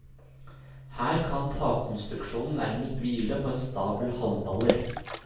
Her kan takkonstruksjonen nærmest hvile på en stabel halmballer.